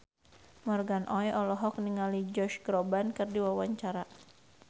Morgan Oey olohok ningali Josh Groban keur diwawancara